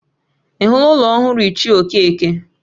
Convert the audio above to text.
Ị hụla ụlọ ọhụrụ ichie Okeke?